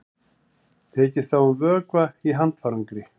Tekist á um vökva í handfarangri